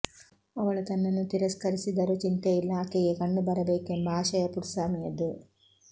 ಅವಳು ತನ್ನನ್ನು ತಿರಸ್ಕರಿಸಿದರೂ ಚಿಂತೆಯಿಲ್ಲ ಆಕೆಗೆ ಕಣ್ಣು ಬರಬೇಕೆಂಬ ಆಶಯ ಪುಟ್ಸಾಮಿಯದು